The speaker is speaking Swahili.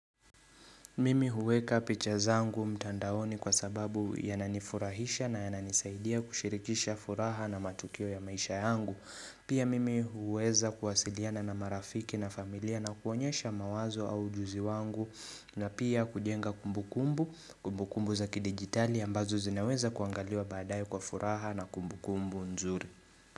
Mimi huweka picha zangu mtandaoni kwa sababu yanani furahisha na yana nisaidia kushirikisha furaha na matukio ya maisha yangu. Pia mimi huweza kuwasiliana na marafiki na familia na kuonyesha mawazo au ujuzi wangu na pia kujenga kumbukumbu kumbukumbu za kidigitali ambazo zinaweza kuangaliwa baadae kwa furaha na kumbukumbu nzuri.